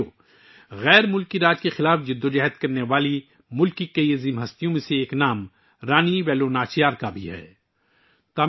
دوستو، رانی ویلو ناچیار کا نام بھی ملک کی ان بہت سی عظیم شخصیات میں شامل ہے جنہوں نے غیر ملکی راج کے خلاف جدوجہد کی